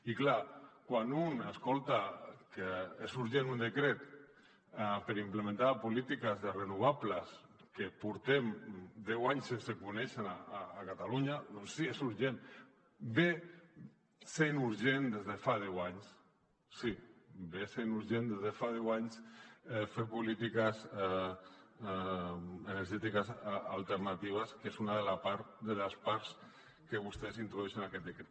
i clar quan un escolta que és urgent un decret per implementar polítiques de renovables que portem deu anys sense conèixer ne a catalunya doncs sí és urgent és urgent des de fa deu anys sí és urgent des de fa deu anys fer polítiques energètiques alternatives que és una de les parts que vostès introdueixen en aquest decret